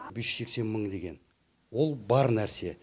бес жүз сексен мың деген ол бар нәрсе